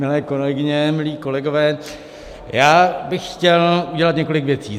Milé kolegyně, milí kolegové, já bych chtěl udělat několik věcí.